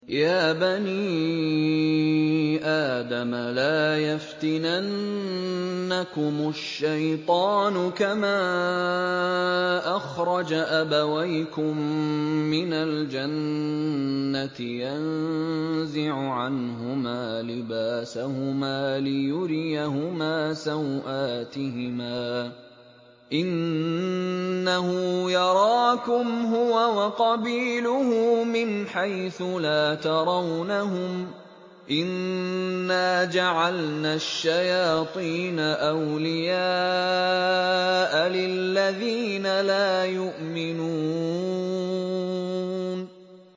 يَا بَنِي آدَمَ لَا يَفْتِنَنَّكُمُ الشَّيْطَانُ كَمَا أَخْرَجَ أَبَوَيْكُم مِّنَ الْجَنَّةِ يَنزِعُ عَنْهُمَا لِبَاسَهُمَا لِيُرِيَهُمَا سَوْآتِهِمَا ۗ إِنَّهُ يَرَاكُمْ هُوَ وَقَبِيلُهُ مِنْ حَيْثُ لَا تَرَوْنَهُمْ ۗ إِنَّا جَعَلْنَا الشَّيَاطِينَ أَوْلِيَاءَ لِلَّذِينَ لَا يُؤْمِنُونَ